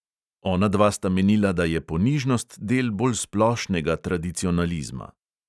Onadva sta menila, da je ponižnost del bolj splošnega tradicionalizma.